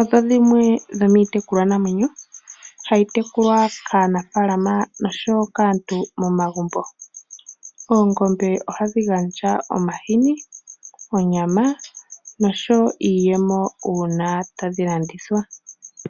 odho dhimwe dhomiitekulwa namwenyo ndhoka hayi tekulwa kaanafaalama osho wo kaantu momagumbo. Oongombe ohadhi gandja omahini, onyama nosho wo iiyemo uuna tadhi landithwa.